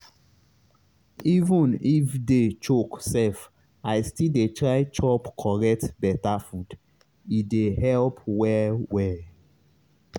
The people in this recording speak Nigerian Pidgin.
even if day choke sef i still dey try chop correct beta food e dey help well well.